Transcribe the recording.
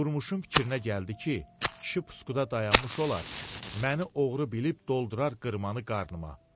Durmuşun fikrinə gəldi ki, kişi pusuqda dayanmış olar, məni oğru bilib doldurar qırmanı qarnıma.